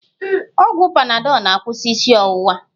Ọgwụ panadọl na-akwụsị isi ọwụwa